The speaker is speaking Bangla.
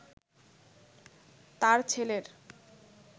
তার ছেলের